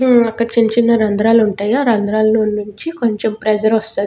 ఉమ్మ్ అక్కడ చిన్నచిన్న రంధ్రాలు ఉంటయి ఆ రంధ్రాలనుంచి కొంచం ప్రెషర్ వస్తాది.